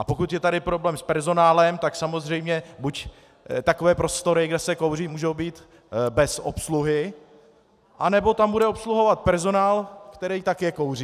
A pokud je tedy problém s personálem, tak samozřejmě buď takové prostory, kde se kouří, můžou být bez obsluhy, anebo tam bude obsluhovat personál, který také kouří.